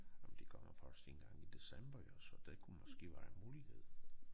Jamen de kommer først engang i december jo så det kunne måske være en mulighed